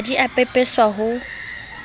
ha di a pepeswa ho